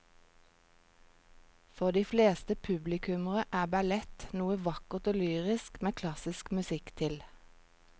For de fleste publikummere er ballett noe vakkert og lyrisk med klassisk musikk til.